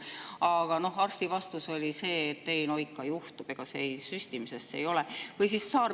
Aga arsti vastus oli see, et no ikka juhtub, ega see süstimisest ei ole.